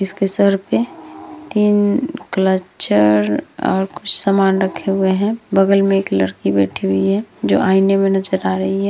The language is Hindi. इसके सर पे तीन क्लचर और कुछ सामान रखे हुए हैं। बगल में एक लड़की बैठी हुई है जो आइने में नजर आ रही है।